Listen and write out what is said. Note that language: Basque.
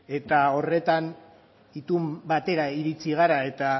eta horretan itun batera iritxi gara eta